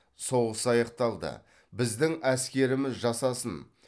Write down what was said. соғыс аяқталды біздің әскеріміз жасасын